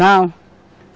Não.